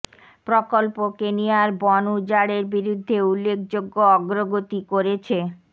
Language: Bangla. প্রকল্প কেনিয়া এর বন উজাড়ের বিরুদ্ধে উল্লেখযোগ্য অগ্রগতি করেছে